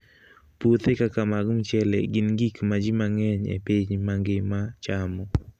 Puothe kaka mag mchele gin gik ma ji mang'eny e piny mangima chamo.